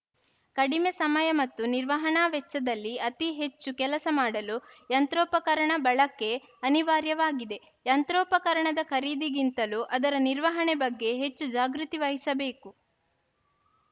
ಕಡಿಮೆ ಸಮಯ ಮತ್ತು ನಿರ್ವಹಣಾ ವೆಚ್ಚದಲ್ಲಿ ಅತೀ ಹೆಚ್ಚು ಕೆಲಸ ಮಾಡಲು ಯಂತ್ರೋಪಕರಣ ಬಳಕೆ ಅನಿವಾರ್ಯವಾಗಿದೆ ಯಂತ್ರೋಪಕರಣದ ಖರೀದಿಗಿಂತಲೂ ಅದರ ನಿರ್ವಹಣೆ ಬಗ್ಗೆ ಹೆಚ್ಚು ಜಾಗ್ರತಿವಹಿಸಬೇಕು